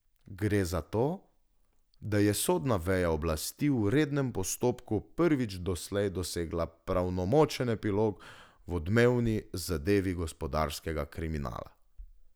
Gre za to, da je sodna veja oblasti v rednem postopku prvič doslej dosegla pravnomočen epilog v odmevni zadevi gospodarskega kriminala.